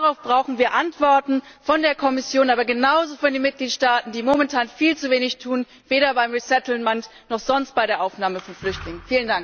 Darauf brauchen wir Antworten von der Kommission, aber genauso von den Mitgliedstaaten, die momentan viel zu wenig tun, weder beim Resettlement noch sonst bei der Aufnahme von Flüchtlingen.